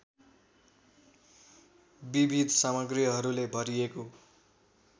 विविध सामग्रीहरूले भरिएको